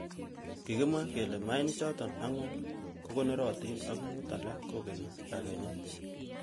Kikimwa kele maichatak angwan kokonorotin ak mut alak kokeni kakenyet.